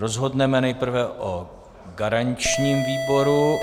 Rozhodneme nejprve o garančním výboru.